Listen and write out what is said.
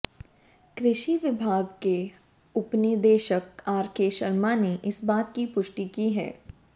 कृषि विभाग के उपनिदेशक आरके शर्मा ने इस बात की पुष्टि की है